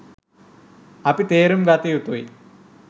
අපි තේරුම් ගත යුතුයි